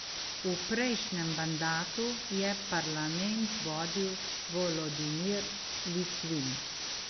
V prejšnjem mandatu je parlament vodil Volodimir Litvin.